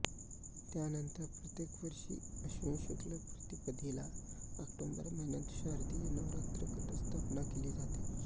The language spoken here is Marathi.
त्यानंतर प्रत्येक वर्षी अश्विन शुक्ल प्रतिपदेला ऑक्टोंबर महिन्यात शारदीय नवरात्र घटस्थापना केली जाते